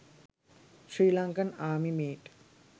srilankan army meet